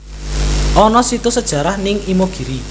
Ono situs sejarah ning Imogiri